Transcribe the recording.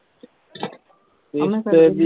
ਕਿਸ਼ਤ ਇਹਦੀ